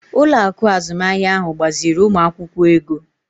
Ụlọ akụ azụmahịa ahụ gbaziiri ụmụ akwụkwọ ego.